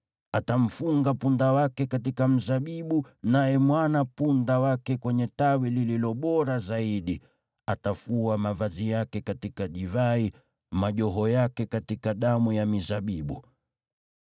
Atamfunga punda wake katika mzabibu, naye mwana-punda wake kwenye tawi lililo bora zaidi; atafua mavazi yake katika divai, majoho yake katika damu ya mizabibu.